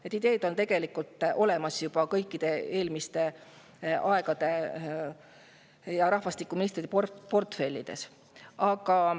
Need ideed on tegelikult juba olemas eelmiste rahvastikuministrite portfellis.